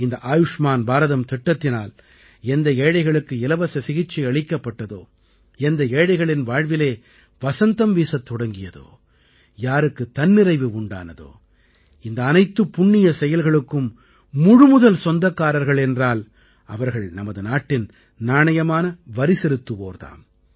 இந்த ஆயுஷ்மான் பாரதம் திட்டத்தினால் எந்த ஏழைகளுக்கு இலவச சிகிச்சை அளிக்கப்பட்டதோ எந்த ஏழைகளின் வாழ்விலே வசந்தம் வீசத் தொடங்கியதோ யாருக்குத் தன்னிறைவு உண்டானதோ இந்த அனைத்துப் புண்ணிய செயல்களுக்கும் முழுமுதல் சொந்தக்காரர்கள் என்றால் அவர்கள் நமது நாட்டின் நாணயமான வரிசெலுத்துவோர் தாம்